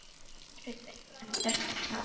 TRYGGVI: Hann barst í tal já.